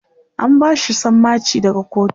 an bashi sammaci daga kotu